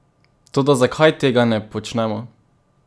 Toda zakaj tega ne počnemo?